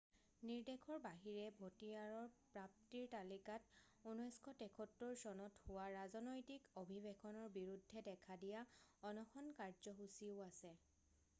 নিৰ্দেশৰ বাহিৰে ভতিয়াৰৰ প্ৰাপ্তিৰ তালিকাত 1973 চনত হোৱা ৰাজনৈতিক অভিৱেশনৰ বিৰুদ্ধে দেখা দিয়া অনশন কাৰ্যসূচীও আছে